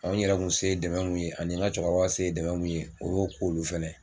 N yɛrɛ kun se dɛmɛ mun ye ani ka cɛkɔrɔba se ye dɛmɛ mun ye o y'o k'olu fana.